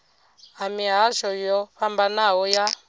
ha mihasho yo fhambanaho ya